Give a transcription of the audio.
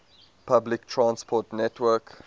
public transport network